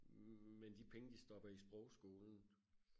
men de penge de stopper i sprogskolen